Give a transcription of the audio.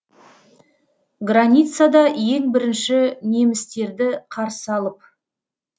границада ең бірінші немістерді қарсы алып